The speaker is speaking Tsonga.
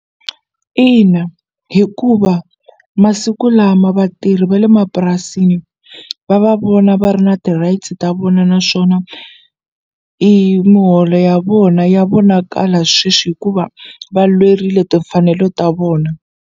Ina hikuva masiku lama vatirhi va le mapurasini va va vona va ri na ti-rights ta vona naswona i miholo ya vona ya vonakala sweswi hikuva va lwerile timfanelo ta vona.